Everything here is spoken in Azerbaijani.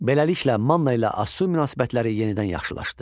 Beləliklə Manna ilə Asur münasibətləri yenidən yaxşılaşdı.